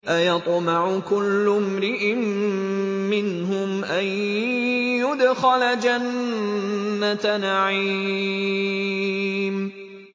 أَيَطْمَعُ كُلُّ امْرِئٍ مِّنْهُمْ أَن يُدْخَلَ جَنَّةَ نَعِيمٍ